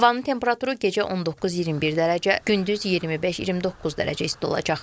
Havanın temperaturu gecə 19-21 dərəcə, gündüz 25-29 dərəcə isti olacaq.